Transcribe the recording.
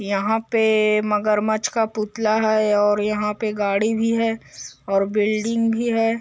यहाँ पे मगरमच्छ का पुतला है और यहाँ पे गाड़ी भी है और बिल्डिंग भी है ।